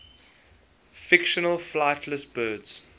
fictional flightless birds